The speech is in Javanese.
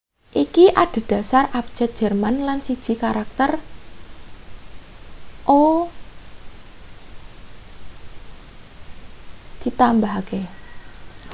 iki adhedhasar abjad jerman lan siji karakter õ/õ ditambahake